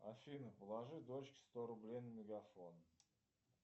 афина положи дочке сто рублей на мегафон